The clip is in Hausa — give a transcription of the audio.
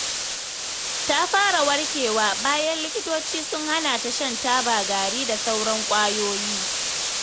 Ta fara warkewa, bayan likitoci sun hana ta shan taba gari da sauran ƙwayoyi.